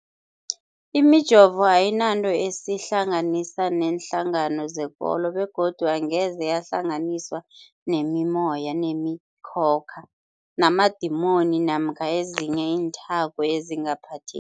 Imijovo ayinanto eyihlanganisa neenhlangano zekolo begodu angeze yahlanganiswa nemimoya, nemi khokha, namadimoni namkha ezinye iinthako ezingaphathe